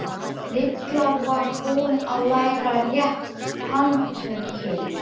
Lilla var búin að læra réttu handtökin.